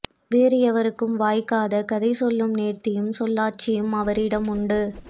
வேறு எவருக்கும் வாய்க்காத கதை சொல்லும் நேர்த்தியும் சொல்லாட்சியும் அவரிடம் உண்டு